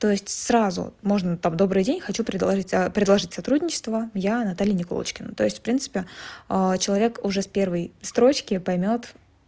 то есть сразу можно там добрый день хочу предложить предложить сотрудничество я наталья никулочкина то есть в принципе человек уже с первой строчки поймёт